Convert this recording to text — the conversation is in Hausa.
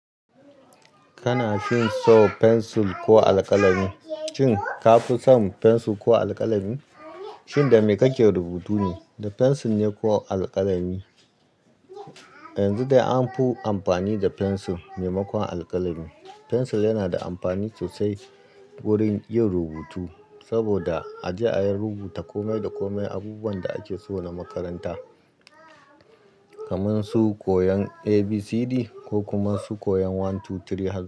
Kana fin so pensil ko alkalami? Shin ka fi son pensil ko alkalami? Shin da me kake rubutu ne? Da pensil ne ko alkalami? Yanzu dai an fi amfani da pensil maimakon alkalami. Pensil yana da amfani sosai wurin yin rubutu saboda a je a yi rubuta komai da komai abubuwan da ake so na makaranta, kaman su koyon A, B, C, D ko kuma su koyon one, two, three har.